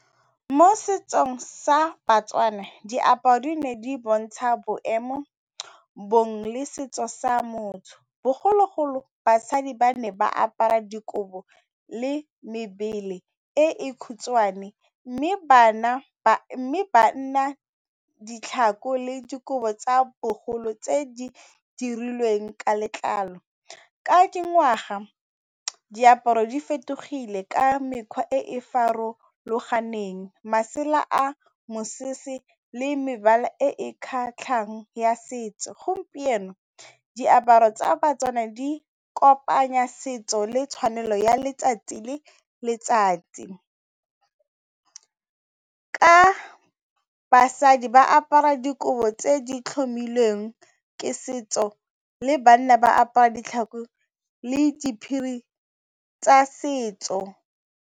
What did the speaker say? Mo setsong sa ba-Tswana diaparo di ne di bontsha boemo bong le setso sa motho bogologolo basadi ba ne ba apara dikobo le mebele e e khutshwane mme banna ditlhako le dikobo tsa bogolo tse di dirilweng ka letlalo ka dingwaga diaparo di fetogile ka mekgwa e e farologaneng, masela a mosese le mebala e e kgatlhang ya setso gompieno diaparo tsa ba-Tswana di kopanya setso le tshwanelo ya letsatsi le letsatsi ka basadi ba apara dikobo tse di tlhomilweng ke setso le banna ba apara ditlhako le diphiri tsa setso.